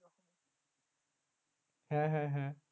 হ্যাঁ হ্যাঁ হ্যাঁ